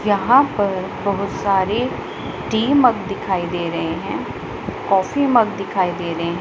यहां पर बहुत सारे टी मग दिखाई दे रहे हैं कॉफी मग दिखाई दे रहे--